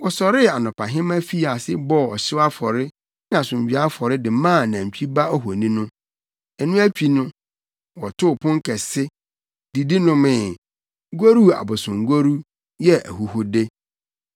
Wɔsɔree anɔpahema fii ase bɔɔ ɔhyew afɔre ne asomdwoe afɔre de maa nantwi ba ohoni no. Ɛno akyi no, wɔtoo pon kɛse, didi nomee, goruu abosongoru, yɛɛ ahuhude.